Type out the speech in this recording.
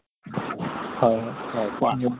হয় হয় হয় কোৱা।